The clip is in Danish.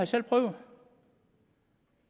selv prøvet